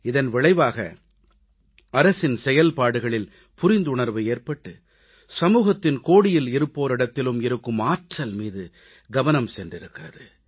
இதன் விளைவாக அரசின் செயல்பாடுகளில் புரிந்துணர்வு ஏற்பட்டு சமூகத்தின் கோடியில் இருப்போரிடத்திலும் இருக்கும் ஆற்றல் மீது கவனம் சென்றிருக்கிறது